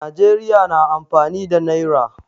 Najeriya na amfani da nayra